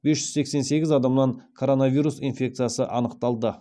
бес жүз сексен сегіз адамнан коронавирус инфециясы анықталды